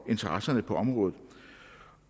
interesser på området